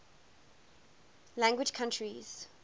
language countries